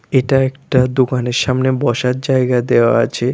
এটা একটা দোকানের সামনে বসার জায়গা দেওয়া আছে।